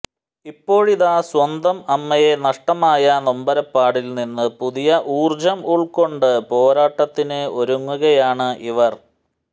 ഇപ്പോഴിതാ സ്വന്തം അമ്മയെ നഷ്ടമായ നൊമ്പരപാടിൽ നിന്ന് പുതിയ ഊർജം ഉൾക്കൊണ്ട് പോരാട്ടത്തിന് ഒരുങ്ങുകയാണ് ഇവർ